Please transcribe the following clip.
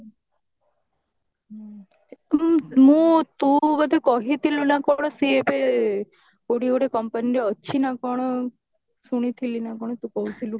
ମୁଁ ତୁ ବୋଧେ କହିଥିଲୁ ନା କଣ ସିଏ ଏବେ କଉଠି ଗୋଟେ company ରେ ଅଛି ନା କଣ ଶୁଣିଥିଲି ନା କଣ ତୁ କହୁଥିଲୁ